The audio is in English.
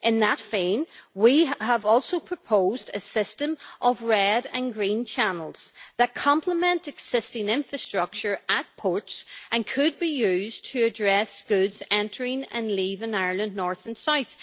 In that vein, we have also proposed a system of red and green channels that complement existing infrastructure at ports and could be used to address goods entering and leaving Ireland, north and south.